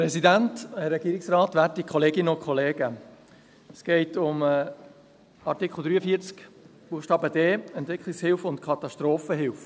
Es geht um Artikel 43 Buchstabe d, Entwicklungshilfe und Katastrophenhilfe.